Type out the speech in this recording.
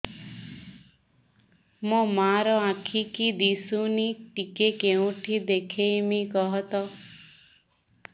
ମୋ ମା ର ଆଖି କି ଦିସୁନି ଟିକେ କେଉଁଠି ଦେଖେଇମି କଖତ